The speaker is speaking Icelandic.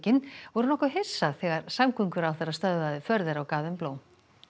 voru nokkuð hissa þegar samgönguráðherra stöðvaði för þeirra og gaf þeim blóm